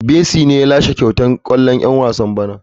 Messi ne ya lashe kyautar gwarzon dan wasan bana.